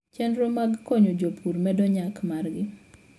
Chenro mag konyo jopur medo nyak margi.